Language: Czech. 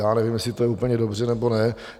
Já nevím, jestli to je úplně dobře nebo ne.